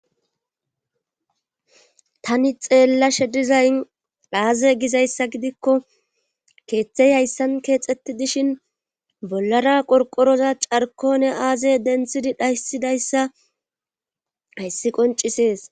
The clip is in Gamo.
Tani xeellashe dizayn dhaaze gizayssa gidikko keeththey hayssan keexxetti dishin bollara qorqoroza carkone aazey denthidi dhaysidayssa hayssi qoncisees